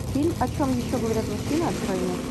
фильм о чем еще говорят мужчины открой мне